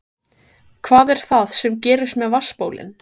Kristján: Hvað er það sem gerist með vatnsbólin?